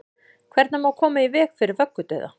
hvernig má koma í veg fyrir vöggudauða